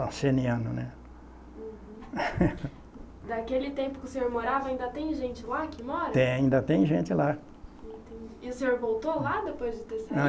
Arcenianos, né. Uhum. Daquele tempo que o senhor morava, ainda tem gente lá que mora? Tem, ainda tem gente lá. Entendi. E o senhor voltou lá depois de ter saído?